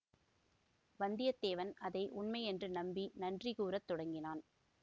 வந்தியத்தேவன் அதை உண்மை என்று நம்பி நன்றி கூற தொடங்கினான்